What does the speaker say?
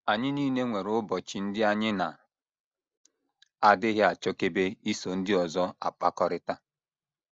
Anyị nile nwere ụbọchị ndị anyị na - adịghị achọkebe iso ndị ọzọ akpakọrịta.